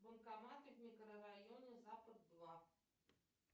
банкоматы в микрорайоне запад два